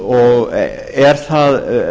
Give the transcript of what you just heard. og er það